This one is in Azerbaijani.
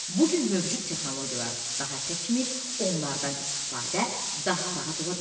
Bu gün mövcud texnologiyalar daha təkmil, onlardan istifadə daha rahat ola bilər.